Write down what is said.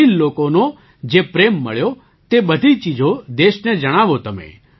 તમિલ લોકોનો જે પ્રેમ મળ્યો તે બધી ચીજો દેશને જણાવો તમે